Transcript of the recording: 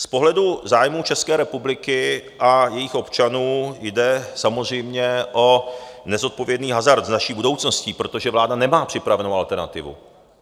Z pohledu zájmů České republiky a jejích občanů jde samozřejmě o nezodpovědný hazard s naší budoucností, protože vláda nemá připravenou alternativu.